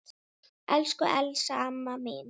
Elsku Elsa amma mín.